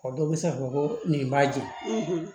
O dɔw bɛ se ka fɔ ko nin b'a jɛ